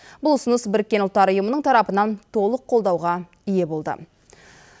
бұл ұсыныс біріккен ұлттар ұйымының тарапынан толық қолдауға ие болды